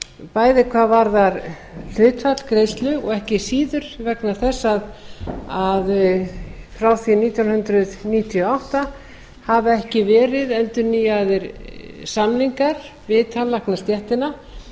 bæði hvað varðar hlutfall greiðslu og ekki síður vegna þess að frá því nítján hundruð níutíu og átta hafa ekki verið endurnýjaðir samningar við tannlæknastéttina